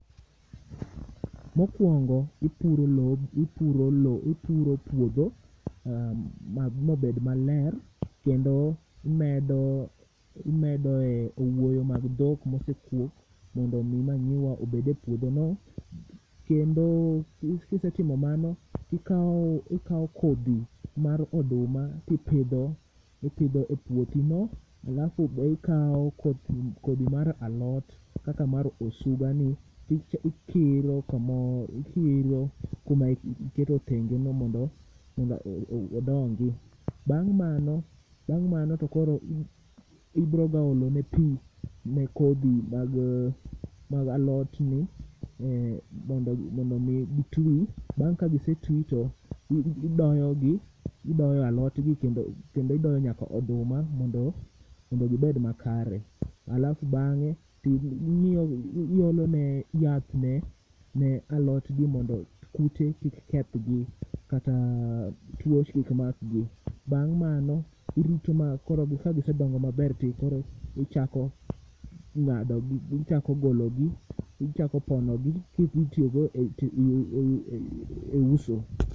Mokwongo ipuro lob, ipuro lo, ipuro puodho mabed maler. Kendo imedo, imedoe owuoyo mag dhok mosekuok mondo mi manyiwa obede puodho no. Kendo kisetimo mano, tikawo, ikao kodhi mar oduma tipidho, ipidho e puothi no. Alafu be ikawo kodhi mar alot kaka mar osuga ni ti ikiro kamor, ikiro kuma iketo tengeno mondo odongi. Bang' mano, bang' mano to koro ibroga olone pi ne kodhi mag alot ni eh, mondo mi gi twi. Bang' ka gisetwi to ibayo gi, ibayo alot gi kendo idoyo nyaka oduma mondo gibed makare. Alafu bang'e, ti ing'yogi, iolone yath ne ne alot gi mondo kute kik kethgi kata tuo kikmakgi. Bang' mano, irito ma koro kagisedongo maber ti koro ichako ng'ado gi, ichako golo gi, ichako pono gi, kidhitiyogo i e uso.